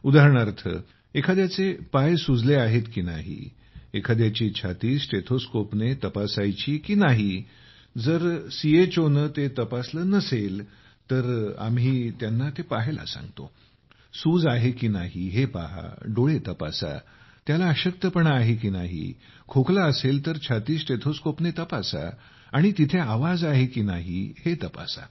उदाहरणार्थ एखाद्याचे पाय सुजले आहेत की नाही एखाद्याची छाती स्टेथोस्कोपने तपासायची की नाही जर सीएचओने ते तपासले नसेल तर आम्ही त्यांना पाहायला सांगतो सूज आहे की नाही हे पहा डोळे तपासा त्याला अशक्तपणा आहे की नाही खोकला असेल तर छातीस्टेथोस्कोपने तपासा आणि तेथे आवाज आहे की नाही तपासा